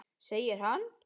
Segir hann.